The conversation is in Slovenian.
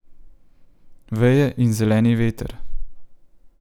Veje in zeleni veter.